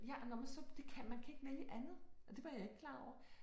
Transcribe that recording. Ja og når man så det kan man man kan ikke vælge andet og det var jeg ikke klar over